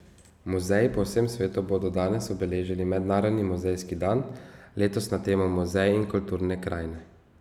Muzeji po vsem svetu bodo danes obeležili mednarodni muzejski dan, letos na temo Muzeji in kulturne krajine.